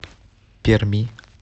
перми